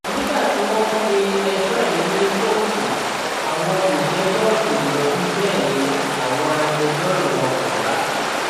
nígbà tí wọn pe ẹjọ yìí ní kóòtù àwọn olùjẹjọ kò yọjú bẹẹ ni àwọn agbẹjọrò wọn kò wá